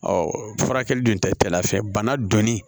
Ɔ furakɛli dun tɛ cɛla fɛ bana donni